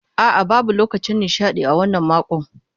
A'a, babu lokacin nishaɗi a wannan makon.